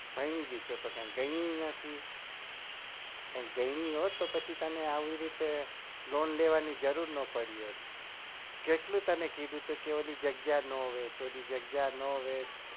કઈ ગઈ નથી કઈ ગઈ ના હોત તારે આ રીતે loan લેવાની જરૂર ન પડી હોત કેટલી વાર તને કીધું ક એરી જગ્યા નો વેચ ઓલી જગ્યા નો વેચ